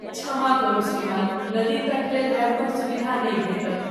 क्षमा करू श्रीमान। नदी तट लेल रेैंपक सुविधा नहि भेटत।